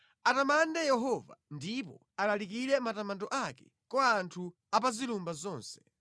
Atamande Yehova ndipo alalike matamando ake kwa anthu apazilumba zonse.